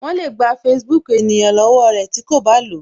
Wọn le gba Facebook ènìyàn lọwọ rẹ tí ko ba lo